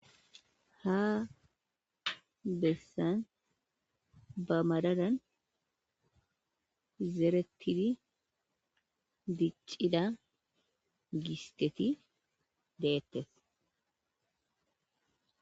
Ha bessan ba madadan zerettidi diccida gisteti deettes.